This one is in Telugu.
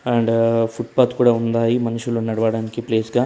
అండ్ ఫుట్ పాత్ కూడా ఉన్నాయి మనుషులు నడవడానికి ప్లేస్ గా.